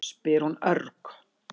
spyr hún örg.